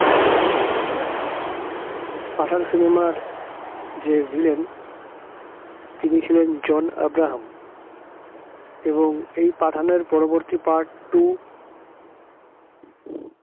পাঠান cinema র যে villain তিনি ছিলেন জন আব্রাহাম এবং এই পাঠানোর পরবর্তী part two